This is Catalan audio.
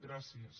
gràcies